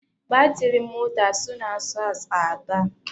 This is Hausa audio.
Batirin mota suna sa tsada.